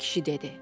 Kişi dedi: